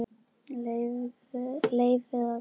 Leyfið að kólna.